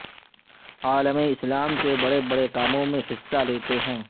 عالم اسلام کے بڑے بڑے کاموں میں حصہ لیتے ہیں